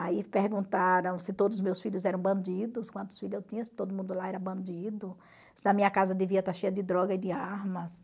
Aí perguntaram se todos os meus filhos eram bandidos, quantos filhos eu tinha, se todo mundo lá era bandido, se na minha casa devia estar cheia de droga e de armas.